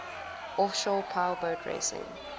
offshore powerboat racing